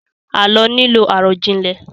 Àlọ́ nílò àròjinlẹ̀